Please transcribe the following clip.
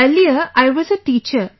Earlier, I was a teacher